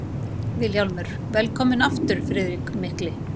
VILHJÁLMUR: Velkominn aftur, Friðrik mikli!